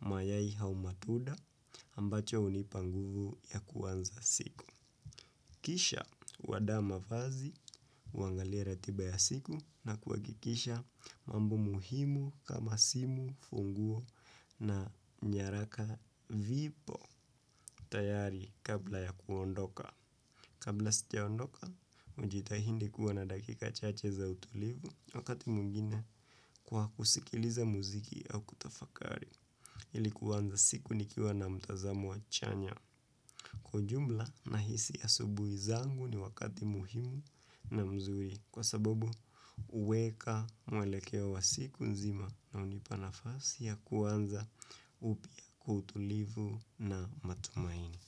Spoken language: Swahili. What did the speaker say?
mayai au matunda ambacho hunipa nguvu ya kuanza siku. Kisha huandaa mavazi huangalia ratiba ya siku na kuhakikisha mambo muhimu kama simu funguo na nyaraka vipo tayari kabla ya kuondoka. Kabla sijaondoka, hujitahidi kuwa na dakika chache za utulivu wakati mwingine kwa kusikiliza muziki au kutafakari ili kuanza siku nikiwa na mtazamo wa chanya. Kwa ujumla nahisi asubuhi zangu ni wakati muhimu na mzuri kwa sababu huweka mwelekeo wa siku nzima na hunipa nafasi ya kuanza upya kwa utulivu na matumaini.